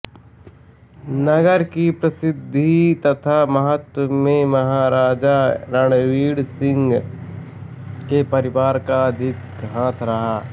नगर की प्रसिद्धि तथा महत्व में महाराजा रणजीतसिंह के परिवार का अधिक हाथ रहा